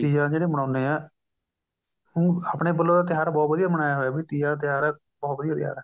ਤੀਆਂ ਜਿਹੜੀਆਂ ਮਨਾਉਦੇ ਆਂ ਆਪਣੇ ਵਾਲੋ ਤਿਉਹਾਰ ਬਹੁਤ ਵਧੀਆ ਮਨਾਇਆ ਹੋਇਆ ਹੈ ਵੀ ਤੀਆਂ ਦਾ ਤਿਉਹਾਰ ਹੈ ਬਹੁਤ ਵਧੀਆ ਤਿਉਹਾਰ ਹੈ